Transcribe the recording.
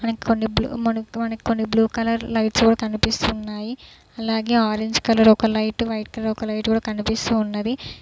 మనకి కొన్ని బ్లూ మనకి మనకి కొన్ని బ్లూ కలర్ లైట్స్ కూడా కనిపిస్తున్నాయి అలాగే ఆరెంజ్ కలర్ ఒక లైట్ వైట్ కలర్ ఒక లైట్ కూడా కనిపిస్తూ ఉన్నది.